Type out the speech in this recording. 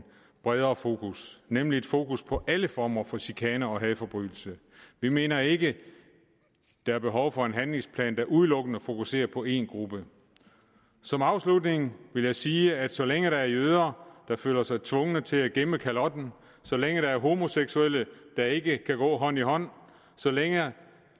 bredere fokus nemlig et fokus på alle former for chikane og hadforbrydelser vi mener ikke at der er behov for en handlingsplan der udelukkende fokuserer på en gruppe som afslutning vil jeg sige at så længe der er jøder der føler sig tvunget til at gemme kalotten så længe der er homoseksuelle der ikke kan gå hånd i hånd så længe